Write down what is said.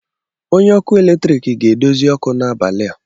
Onye ọkụ eletrik ga-edozi ọkụ n'abalị a